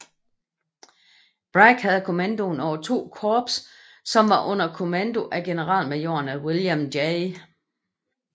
Bragg havde kommandoen over to korps som var under kommandoe af generalmajorerne William J